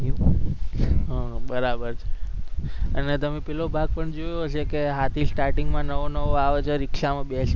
હમ બરાબર અને તમે પેલો ભાગ પણ જોયો હશે કે હાથી starting માં નવો-નવો આવે છે રીક્ષામાં બેસીને